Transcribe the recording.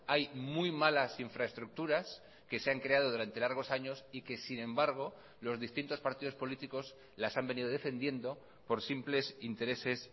hay muy malas infraestructuras que se han creado durante largos años y que sin embargo los distintos partidos políticos las han venido defendiendo por simples intereses